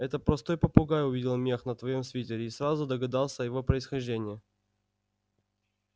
это простой попугай увидел мех на твоём свитере и сразу догадался о его происхождении